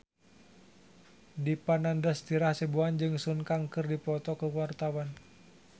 Dipa Nandastyra Hasibuan jeung Sun Kang keur dipoto ku wartawan